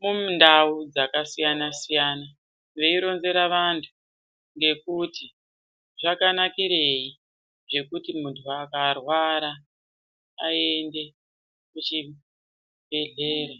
mundau dzakasiyana siyana veironzera vantu ngekuti zvakanakirei zvekuti muntu akarwara aende kuchibhedhlera.